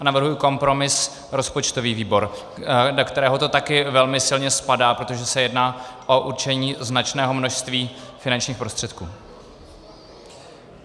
A navrhuji kompromis - rozpočtový výbor, do kterého to taky velmi silně spadá, protože se jedná o určení značného množství finančních prostředků.